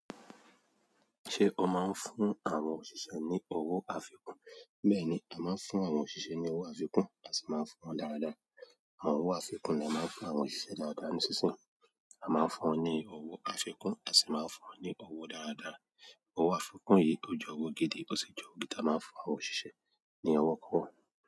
Ṣé o máa ń fún àwọn òṣìṣẹ́ ní owó àfikún? Bẹ́ẹ̀ni a maa n fún àwọn òṣìṣẹ́ ni owo àfikún, a si maa n fún won dára dára. Àwọn owó àfikún ni a máa ń fún àwọn òṣìṣẹ́ dáradára ní sísìn. A máa ń fún wọn ní owó àfikún, a sì máa ń fún wọn ní owó dáradára. Owó àfikún yìí, ó jẹ́ owó gidi, ò sì jẹ́ owó gidi ti a màá ń fún àwọn òṣìṣẹ́ ní owó kan.